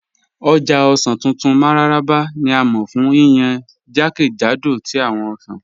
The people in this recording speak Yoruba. Ọ̀já ọ̀ṣàn tuntun Mararaba ni a mọ fun yíyàn jẹ́kẹ́jàdó tí awọn ọ̀ṣàn